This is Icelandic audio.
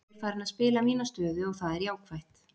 Ég er farinn að spila mína stöðu og það er jákvætt.